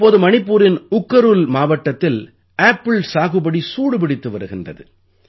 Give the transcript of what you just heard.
இப்போது மணிப்பூரின் உக்கருல் மாவட்டத்தில் ஆப்பிள் சாகுபடி சூடு பிடித்து வருகின்றது